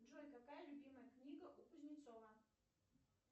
джой какая любимая книга у кузнецова